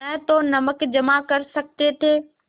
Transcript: न तो नमक जमा कर सकते थे